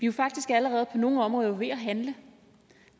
jo faktisk allerede på nogle områder ved at handle